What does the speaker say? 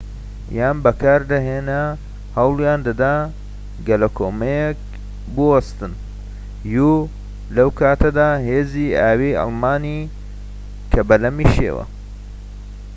لەوکاتەدا هێزی ئاویی ئەڵمانی کە بەلەمی شێوە uیان بەکاردەهێنا هەوڵیان دەدا گەلەکۆمەکیەکە بوەستێنن